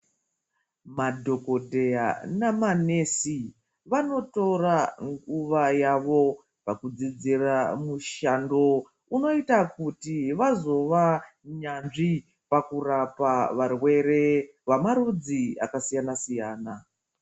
Madhokodheya namanesi vanotora nguva yavo pakudzidzira mushando unoita kuti vazova nyanzvi pakurapa varwere vemarudzi akasiyana siyana.